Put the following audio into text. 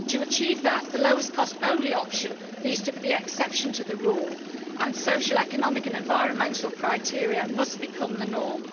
To achieve that, the lowest cost only option needs to be the exception to the rule and social, economic and environmental criteria must become the norm.